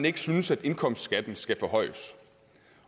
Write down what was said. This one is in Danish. ikke synes at indkomstskatten skal forhøjes